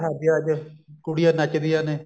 ਵਿਆਹ ਸ਼ਾਦੀਆਂ ਤੇ ਕੁੜੀਆਂ ਨੱਚਦੀਆਂ ਨੇ